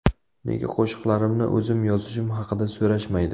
Nega qo‘shiqlarimni o‘zim yozishim haqida so‘rashmaydi?